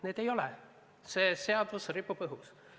Neid ei ole, see seadus ripub õhus.